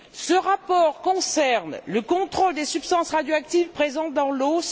Ce rapport concerne le contrôle des substances radioactives présentes dans l'eau.